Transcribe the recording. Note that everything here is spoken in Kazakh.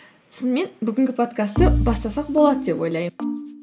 сонымен бүгінгі подкастты бастасақ болады деп ойлаймын